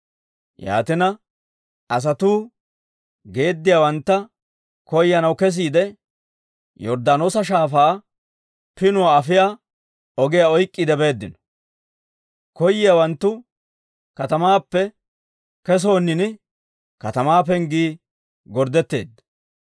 Yaatina, asatuu geediyaawantta koyanaw kesiide, Yorddaanoosa Shaafaa pinuwaa afiyaa ogiyaa oyk'k'iide beeddino. Koyiyaawanttu katamaappe kesoonini, katamaa penggii gorddetteedda.